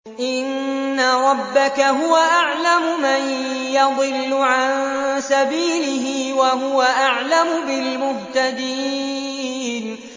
إِنَّ رَبَّكَ هُوَ أَعْلَمُ مَن يَضِلُّ عَن سَبِيلِهِ ۖ وَهُوَ أَعْلَمُ بِالْمُهْتَدِينَ